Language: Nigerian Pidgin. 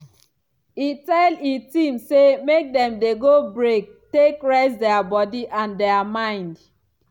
e tell e team say make dem dey go break take rest dia body and dia mind.